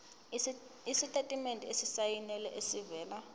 isitatimende esisayinelwe esivela